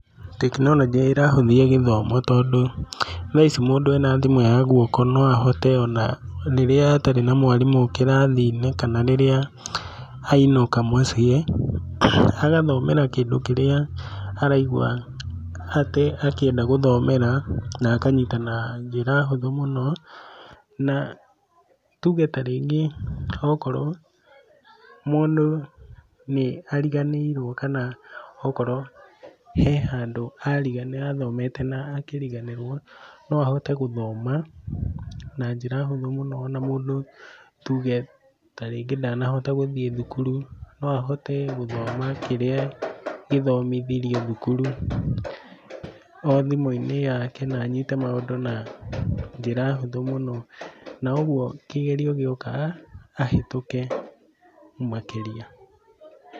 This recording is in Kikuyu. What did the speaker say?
Tekinoronjĩ nĩ ĩrahũthia gĩthoma tondũ thaici ona mũndũ arĩ na thĩmũ ya guoko no ahote on rĩrĩa atarĩ na mwarimũ kĩrathi-inĩ kana rĩrĩa ainũka mũciĩ agathomera kĩndũ kĩrĩa araigua akĩenda gũthomera na akanyita na njĩra hũthũ mũno. Na tuge tarĩngĩ okorwo rĩngĩ mũndũ nĩ ariganĩirwo kana okorwo he handũ athomete na akĩriganĩrwo, no ahote gũthoma, na njĩra hũthũ mũno ona mũndũ tuge ta rĩngĩ ndanahota gũthiĩ thukuru no ahote gũthoma kĩrĩa gĩthomithirio thukuru, o thimũ inĩ yake na anyite na njĩra hũthũ mũno. Na ũguo kĩgerio gĩoka ahĩtũke makĩria.